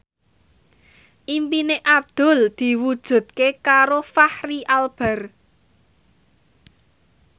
impine Abdul diwujudke karo Fachri Albar